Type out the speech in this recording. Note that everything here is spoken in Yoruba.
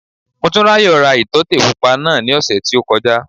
Motúnráyò ra ìtọ́tè pupa náà ní ọ̀sẹ̀ tí ó kọjá